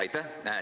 Aitäh!